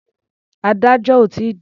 Adájọ́ ò tí ì dé.